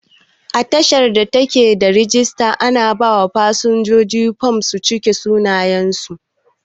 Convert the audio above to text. A tashar da take da rijister, ana ba wa fasinja fom su cike sunayen su